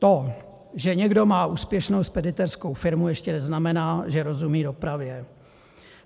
To, že někdo má úspěšnou speditérskou firmu, ještě neznamená, že rozumí dopravě.